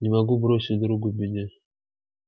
не могу бросить друга в беде